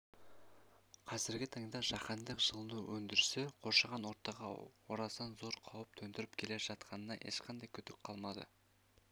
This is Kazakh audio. қазіргі таңда жаһандық жылыну үдерісі қоршаған ортаға орасан зор қауіп төндіріп келе жатқанына ешқандай күдік қалмады